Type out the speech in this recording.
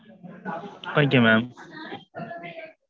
okay mam.